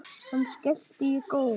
Hann skellti í góm.